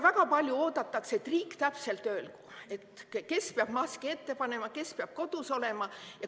Väga palju oodatakse, et riik täpselt öelgu, kes peab maski ette panema, kes peab kodus olema.